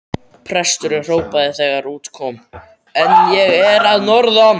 Presturinn hrópaði þegar út kom: En ég er að norðan!